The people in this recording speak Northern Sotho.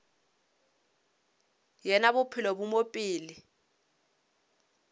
yena bophelo bo mo pele